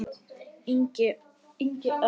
Ingi Örn.